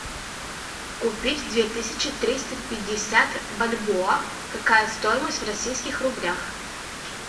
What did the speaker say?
купить две тысячи триста пятьдесят бальбоа какая стоимость в российских рублях